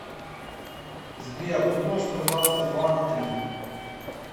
сбер умножь пожалуйста два на три